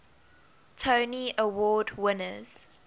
tony award winners